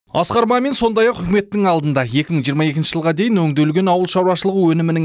асқар мамин сондай ақ үкіметтің алдында екі мың жиырма екінші жылға дейін өңделген ауыл шаруашылығы өнімінің